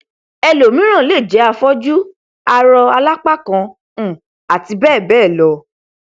ẹlòmíràn lè jẹ afọjú arọ alápákan um àti bẹẹ bẹẹ lọ